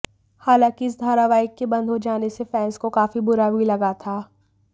हालांकि इस धारावाहिक के बंद हो जाने से फैंस को काफी बुरा भी लगा था